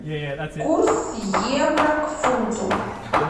курс евро к фунту